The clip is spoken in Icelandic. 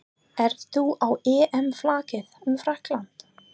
Ert þú á EM-flakki um Frakkland?